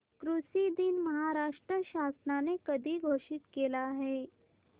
कृषि दिन महाराष्ट्र शासनाने कधी घोषित केला आहे